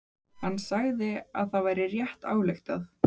Hann sagði að það væri rétt ályktað.